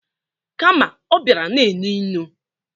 Kama ọ bịara na-enu inu.